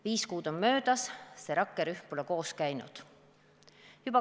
Viis kuud on möödas, see rakkerühm pole koos käinud.